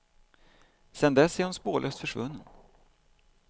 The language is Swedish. Sedan dess är hon spårlöst försvunnen.